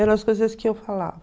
Eram as coisas que eu falava.